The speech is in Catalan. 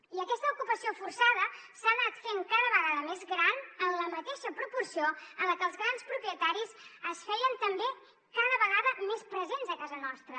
i aquesta ocupació forçada s’ha anat fent cada vegada més gran en la mateixa proporció en la que els grans propietaris es feien també cada vegada més presents a casa nostra